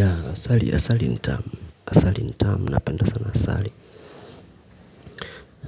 Yaa, asali, asali ni tamu. Asali ni tamu. Napenda sana asali.